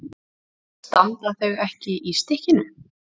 Standa þau ekki í stykkinu?